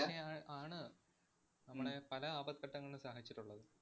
ങ്ങനെയാ ആണ് നമ്മുടെ പല ആപത്ഘട്ടങ്ങളിലും സഹായിച്ചിട്ടുള്ളത്.